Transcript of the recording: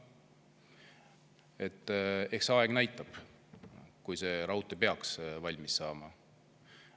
Eks aeg näitab, kui see raudtee peaks valmis saama.